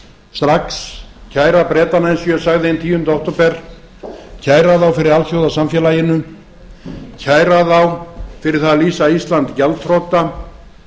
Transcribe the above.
strax kæra bretana eins og ég sagði hinn tíunda október kæra þá fyrir alþjóðasamfélaginu kæra þá fyrir að lýsa ísland gjaldþrota